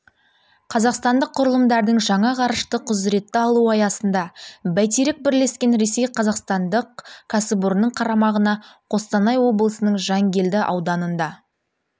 қазақстандық құрылымдардың жаңа ғарыштық құзыретті алуы аясында бәйтерек бірлескен ресей-қазақстандық кәсіпорынның қарамағына қостанай облысының жәнгелді ауданында